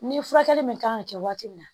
Ni furakɛli min kan ka kɛ waati min na